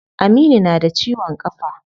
Aminu na da ciwon kafa.